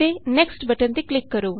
next button ਤੇ click ਕਰੋ